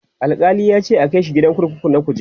Alkali yace a Kai shi gidan kurkuku na kuje